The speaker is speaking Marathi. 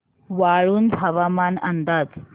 वाळूंज हवामान अंदाज